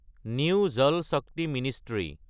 new Jal Shakti ministry